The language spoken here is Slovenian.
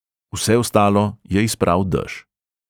Vse ostalo je izpral dež.